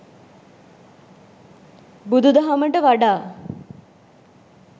බුදුදහමට වඩා